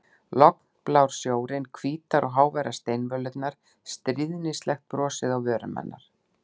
Lognblár sjórinn, hvítar og háværar steinvölurnar, stríðnislegt brosið á vörum hennar.